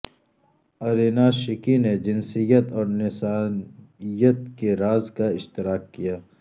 Irina Shayk نے جنسیت اور نسائیت کے راز کا اشتراک کیا